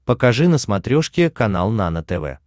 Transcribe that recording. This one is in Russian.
покажи на смотрешке канал нано тв